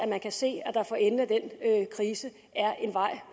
kan se at der for enden af krisen